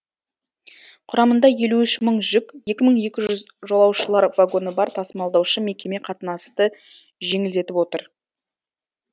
құрамында елу үш мың жүк екі мың екі жүз жолаушылар вагоны бар тасымалдаушы мекеме қатынасты жеңілдетіп отыр